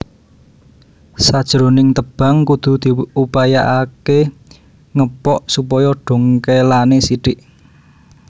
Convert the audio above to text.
Sajroning tebang kudu diupayaaké ngepok supaya dongkèlané sithik